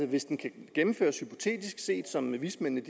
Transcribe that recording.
hvis den kan gennemføres hypotetisk set som vismændene